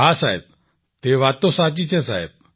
હા સાહેબ તે વાત તો સાચી છે સાહેબ